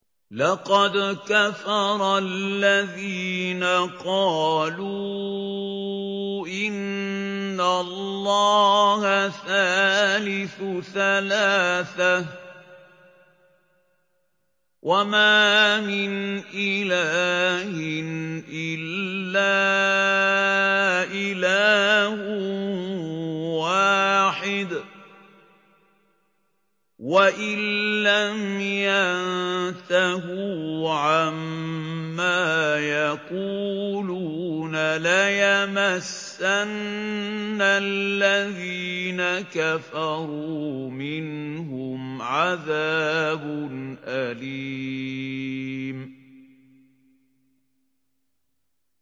لَّقَدْ كَفَرَ الَّذِينَ قَالُوا إِنَّ اللَّهَ ثَالِثُ ثَلَاثَةٍ ۘ وَمَا مِنْ إِلَٰهٍ إِلَّا إِلَٰهٌ وَاحِدٌ ۚ وَإِن لَّمْ يَنتَهُوا عَمَّا يَقُولُونَ لَيَمَسَّنَّ الَّذِينَ كَفَرُوا مِنْهُمْ عَذَابٌ أَلِيمٌ